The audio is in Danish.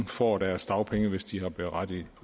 får deres dagpenge hvis de er berettiget